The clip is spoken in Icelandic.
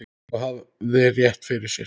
Og hafði rétt fyrir sér.